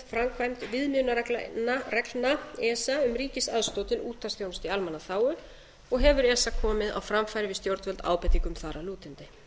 framkvæmd viðmiðunarreglna esa um ríkisaðstoð til útvarpsþjónustu í almannaþágu og hefur esa komið á framfæri við stjórnvöld ábendingum þar að lútandi